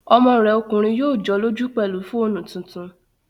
Ọmọ rẹ̀ ọkùnrin yóò jọ́lọ́jú pẹ̀lú fóònù tuntun